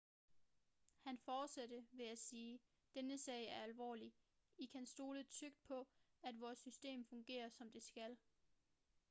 han fortsatte ved at sige denne sag er alvorlig i kan stole trygt på at vores system fungerer som det skal